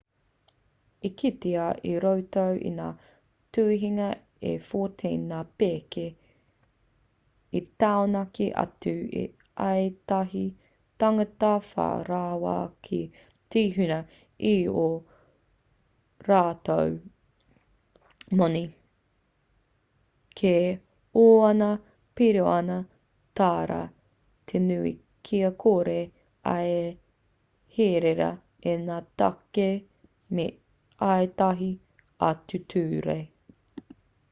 i kitea i roto i ngā tuhinga e 14 ngā pēke i taunaki atu i ētahi tāngata whai rawa ki te huna i ō rātou moni kei ōna piriona tāra te nui kia kore ai e herea e ngā tāke me ētahi atu ture